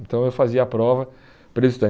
Então eu fazia a prova para ele estudar.